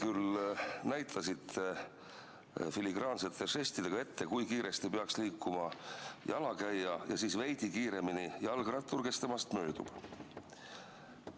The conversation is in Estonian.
Te näitasite filigraansete žestidega ette, kui kiiresti peaks liikuma jalakäija ja et temast veidi kiiremini peaks liikuma jalgrattur, kes temast möödub.